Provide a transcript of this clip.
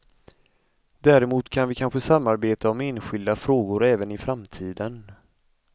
Däremot kan vi kanske samarbeta om enskilda frågor även i framtiden.